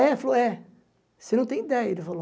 É falou, é. Você não tem ideia, ele falou.